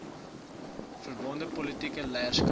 verbonde politieke leierskap